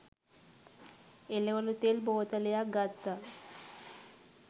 එළවලු තෙල් බෝතලයක් ගත්ත